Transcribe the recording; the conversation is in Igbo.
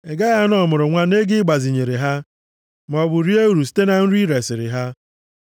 Ị gaghị ana ọmụrụnwa nʼego i gbazinyere ha, maọbụ rie uru site na nri i resiri ha.